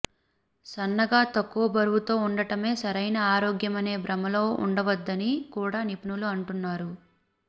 సన్నగా తక్కువ బరువుతో ఉండటమే సరైన ఆరోగ్యమనే భ్రమలో ఉండవద్దని కూడా నిపుణులు అంటున్నారు